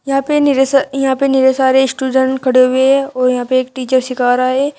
यहां पे निरेस यहां पे नीरे सारे स्टुजन खड़े हुए हैं और यहां पे एक टीचर सीखा रहा है।